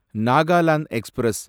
Nagaland express